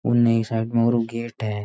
उनने एक साइड में और गेट है।